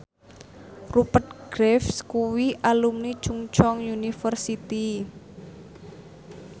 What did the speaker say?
Rupert Graves kuwi alumni Chungceong University